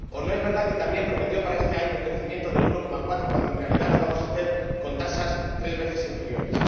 ¿O no es verdad que también prometió para este año un crecimiento del 1,4 cuando, en realidad, lo vamos a hacer con tasas tres veces inferiores?